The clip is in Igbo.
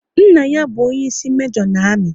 Nna ya bụ onyeisi mejo na amị